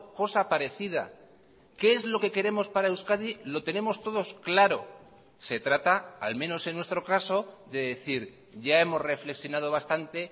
cosa parecida qué es lo que queremos para euskadi lo tenemos todos claro se trata al menos en nuestro caso de decir ya hemos reflexionado bastante